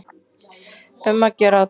Um að gera að athuga.